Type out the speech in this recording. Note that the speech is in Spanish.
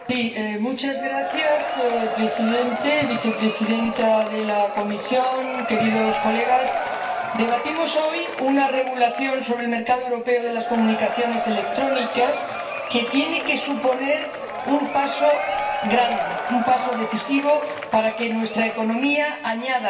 Señor Presidente, señora Vicepresidenta de la Comisión, Señorías, debatimos hoy un Reglamento sobre el mercado europeo de las comunicaciones electrónicas que tiene que suponer un paso grande, un paso decisivo, para que nuestra economía siente